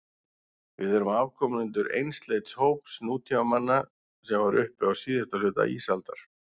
Við erum afkomendur einsleits hóps nútímamanna sem var uppi á síðasta hluta ísaldar.